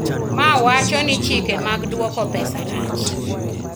mawacho ni chike mag duoko pesa rach